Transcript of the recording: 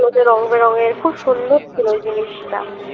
ওতে রং বেরঙের খুব সুন্দর ছিল ওই জিনিষটা